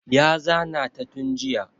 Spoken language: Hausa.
Ya zana ta tun jiya